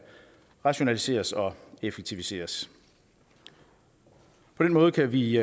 rationaliseres og effektiviseres på den måde kan vi